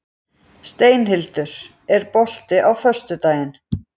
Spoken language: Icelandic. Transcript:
Steinhildur, er bolti á föstudaginn?